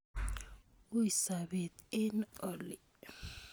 Ui sopet eng' oli